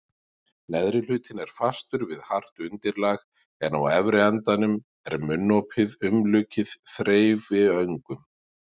Neðri hlutinn er fastur við hart undirlag en á efri endanum er munnopið umlukið þreifiöngum.